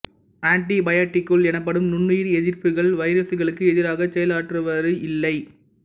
aunty பயாட்டிக்குகள் எனப்படும் நுண்ணியிர் எதிர்ப்பிகள் வைரசுகளுக்கு எதிராகச் செயலாற்றுவது இல்லை